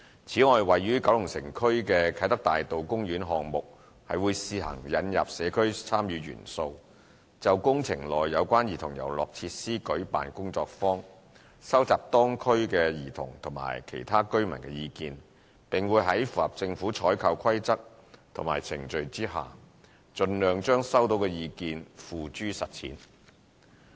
此外，位於九龍城區的啟德大道公園項目會試行引入社區參與元素，就工程內有關兒童遊樂設施舉辦工作坊，收集當區兒童及其他居民的意見，並會在符合政府採購規則及程序下，盡量將收到的意見付諸實踐。